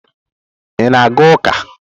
Ị na-aga ụka?